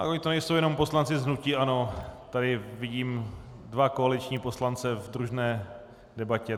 Tak oni to nejsou jenom poslanci z hnutí ANO, tady vidím dva koaliční poslance v družné debatě.